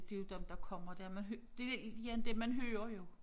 Det jo dem der kommer der men det igen det man hører jo